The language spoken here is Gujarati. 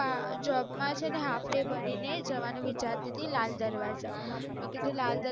આ જોબ મા છે ને હાલ્ફ ડે ભરીને જવાનુ વીચારતી હતી લાલ દરવાજા મે કીધુ લાલ દરવાજા